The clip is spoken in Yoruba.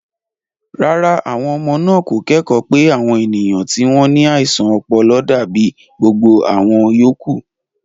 Rárá, àwọn ọmọ náà kò kẹ́kọ̀ọ́ pé àwọn ènìyàn tí wọ́n ní àìsàn ọpọlọ dàbí gbogbo àwọn yòókù.